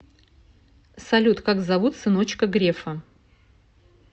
салют как зовут сыночка грефа